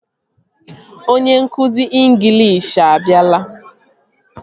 Onye nkụzi ịnglish abịala